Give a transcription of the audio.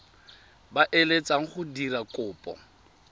ba eletsang go dira kopo